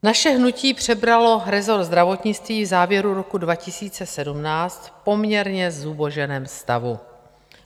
Naše hnutí přebralo resort zdravotnictví v závěru roku 2017 v poměrně zuboženém stavu.